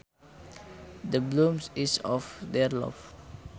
The bloom is off their love